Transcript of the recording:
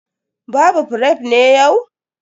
Babu fref ne yau?